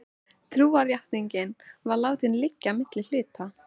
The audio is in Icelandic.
Trúarjátningin var látin liggja milli hluta.